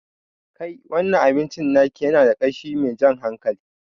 Kai, wannan abincin naki yana da ƙashi mai jan hankali